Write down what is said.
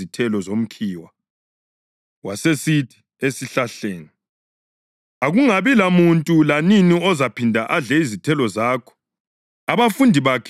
Wasesithi esihlahleni, “Akungabi lamuntu lanini ozaphinda adle izithelo zakho.” Abafundi bakhe bamuzwa esitsho lokho.